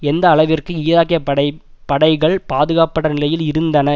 எந்த அளவிற்கு ஈராக்கிய படை படைகள் பாதுகாப்பற நிலையில் இருந்தன